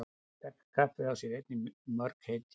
Sterka kaffið á sér einnig mörg heiti.